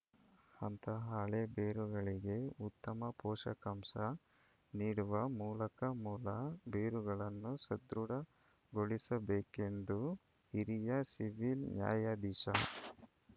ಅಂತಹ ಹಳೇ ಬೇರುಗಳಿಗೆ ಉತ್ತಮ ಪೋಷಕಾಂಶ ನೀಡುವ ಮೂಲಕ ಮೂಲ ಬೇರುಗಳನ್ನು ಸದೃಢಗೊಳಿಸಬೇಕು ಎಂದು ಹಿರಿಯ ಸಿವಿಲ್‌ ನ್ಯಾಯಾಧೀಶ